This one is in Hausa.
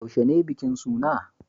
Yaushe ne bikin suna?